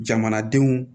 Jamanadenw